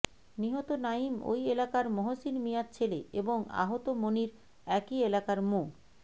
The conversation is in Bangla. নিহত নাঈম ওই এলাকার মহসিন মিয়ার ছেলে এবং আহত মনির একই এলাকার মো